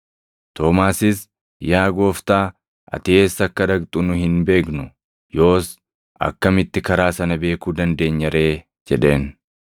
Toomaasis, “Yaa Gooftaa, ati eessa akka dhaqxu nu hin beeknu; yoos akkamitti karaa sana beekuu dandeenya ree?” jedheen.